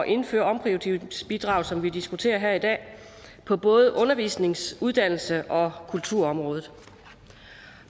indføre omprioriteringsbidraget som vi diskuterer her i dag på både undervisnings uddannelses og kulturområdet